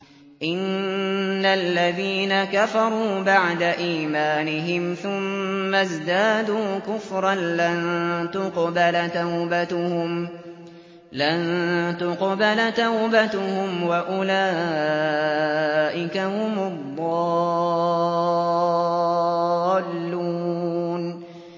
إِنَّ الَّذِينَ كَفَرُوا بَعْدَ إِيمَانِهِمْ ثُمَّ ازْدَادُوا كُفْرًا لَّن تُقْبَلَ تَوْبَتُهُمْ وَأُولَٰئِكَ هُمُ الضَّالُّونَ